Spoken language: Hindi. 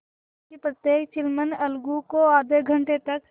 क्योंकि प्रत्येक चिलम अलगू को आध घंटे तक